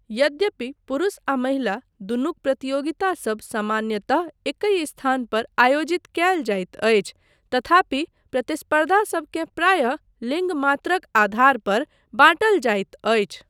यद्यपि पुरुष आ महिला, दुनुक प्रतियोगितासब सामान्यतः एकहि स्थान पर आयोजित कयल जाइत अछि तथापि प्रतिस्पर्धा सबकेँ प्रायः लिङ्ग मात्रक आधार पर बाँटल जाइत अछि।